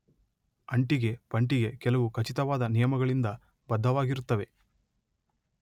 ಅಂಟಿಗೆ ಪಂಟಿಗೆ ಕೆಲವು ಖಚಿತವಾದ ನಿಯಮಗಳಿಂದ ಬದ್ಧವಾಗಿರುತ್ತವೆ.